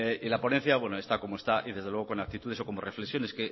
y la ponencia bueno está como está y desde luego con actitudes o como reflexiones